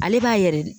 Ale b'a yɛrɛ de